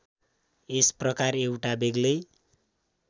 यस प्रकार एउटा बेग्लै